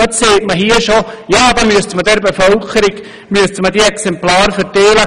Und jetzt heisst es hier bereits, man müsste dann der Bevölkerung Exemplare des Lehrplans verteilen.